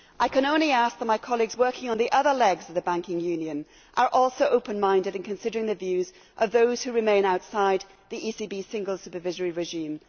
I can only ask that my colleagues working on the other legs of the banking union are also open minded in considering the views of those who remain outside the ECB single supervisory regime.